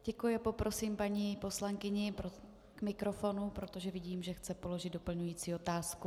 Děkuji a poprosím paní poslankyni k mikrofonu, protože vidím, že chce položit doplňující otázku.